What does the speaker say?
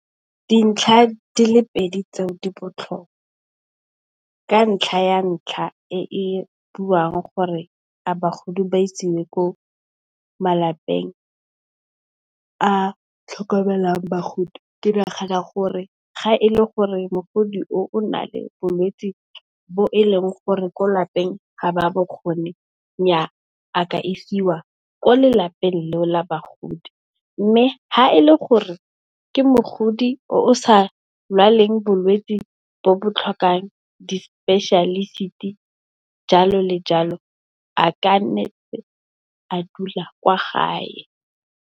Dintlha di le pedi tseo di botlhokwa, ka ntlha ya ntlha e e buang gore a bagodi ba isiwe ko malapeng a tlhokomelang bagodi, ke nagana gore ga e le gore mogodi o o na le bolwetse bo e leng gore ko lapeng ga ba bokgoni, nnyaa a ka isiwa ko lelapeng leo la bagodi. Mme, ga e le gore ke mogodi o o sa lwaleng bolwetse bo bo tlhokang di-specialist-e jalo le jalo, a kana ntse a dula kwa gae.